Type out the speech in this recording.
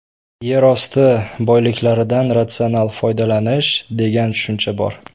Yer osti boyliklaridan ratsional foydalanish, degan tushuncha bor.